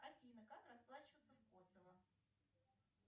афина как расплачиваться в косово